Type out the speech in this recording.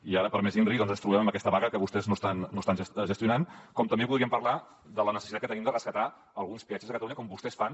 i ara per a més inri doncs ens trobem amb aquesta vaga que vostès no estan gestionant com també podríem parlar de la necessitat que tenim de rescatar alguns peatges de catalunya com vostès fan